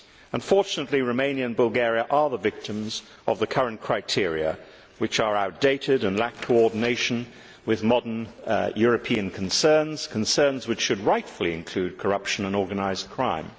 Unfortunately, Romania and Bulgaria are the victims of the current criteria which are outdated and lack coordination with modern European concerns, concerns which should rightfully include corruption and organised crime.